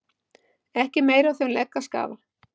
Ekki er meira af þeim legg að skafa